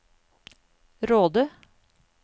Råde